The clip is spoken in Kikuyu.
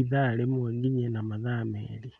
ithaa rĩmwe nginye na mathaa merĩ.